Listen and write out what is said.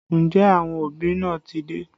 Ǹjẹ́ àwọn òbí náà ti dé?